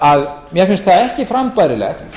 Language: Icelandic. að mér finnst það ekki frambærilegt